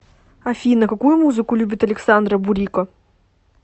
афина какую музыку любит александра бурико